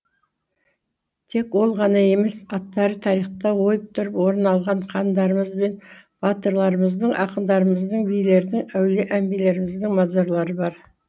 тек ол ғана емес аттары тарихта ойып тұрып орын алған хандарымыз бен батырларымыздың ақындарымыздың билердің әулие әмбиелеріміздің мазарлары бар